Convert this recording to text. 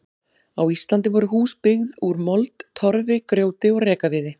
Á Íslandi voru hús byggð úr mold, torfi, grjóti og rekaviði.